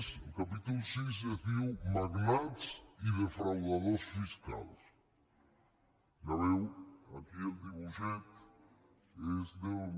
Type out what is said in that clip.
el capítol vi es diu magnats i defraudadors fiscals ja veieu aquí el dibuixet és d’un